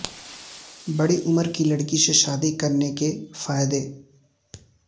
بڑی عمر کی لڑکی سے شادی کرنے کے فائدے